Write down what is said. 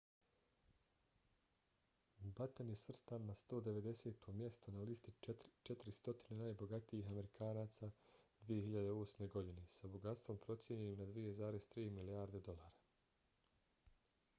batten je svrstan na 190. mjesto na listi 400 najbogatijih amerikanaca 2008. godine sa bogatstvom procijenjenim na 2,3 milijarde dolara